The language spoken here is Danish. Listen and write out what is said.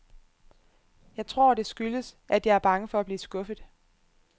Jeg tror, det skyldes, at jeg er bange for at blive skuffet.